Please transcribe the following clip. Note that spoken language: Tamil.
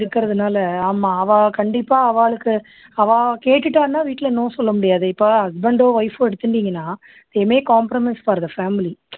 இருக்குறதுனால ஆமா அவா கண்டிப்பா அவாளுக்கு அவா கேட்டுட்டான்னா வீட்டுல no சொல்ல முடியாது இப்போ husband ஓ wife ஓ எடுத்துண்டீங்கன்னா compromise க்கு வருது family